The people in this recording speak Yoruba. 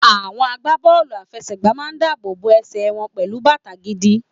Àwọn agbá bọ́ọ̀lù àfẹsẹ̀ gbà ń máa dáàbò bo ẹsẹ̀ wọn pẹlu bàtà gidi.